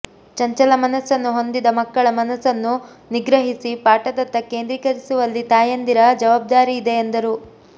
ಚಂಚಲ ಮನಸ್ಸನ್ನು ಹೊಂದಿದ ಮಕ್ಕಳ ಮನಸ್ಸನ್ನು ನಿಗ್ರಹಿಸಿ ಪಾಠದತ್ತ ಕೇಂದ್ರಿಕರಿಸುವಲ್ಲಿ ತಾಯಂದಿರ ಜವಾಬ್ದಾರಿಯಿದೆ ಎಂದರು